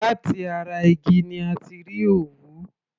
Láti ara igi òwú ni a ti rí òwú.